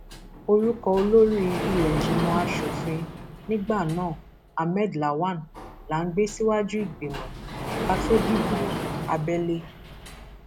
orúkọ olórí ìlẹẹjìmọ asòfin nígbà náà ahmed lawan la gbé síwájú ìgbìmọ ká a tó dìbò abẹlé